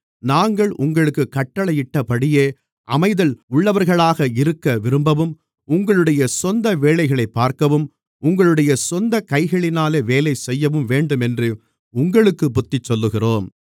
நாங்கள் உங்களுக்குக் கட்டளையிட்டபடியே அமைதலுள்ளவர்களாக இருக்கவிரும்பவும் உங்களுடைய சொந்த வேலைகளைப் பார்க்கவும் உங்களுடைய சொந்தக் கைகளினாலே வேலைசெய்யவும் வேண்டுமென்று உங்களுக்குப் புத்திசொல்லுகிறோம்